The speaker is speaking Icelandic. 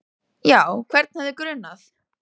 Já, hvern hefði grunað?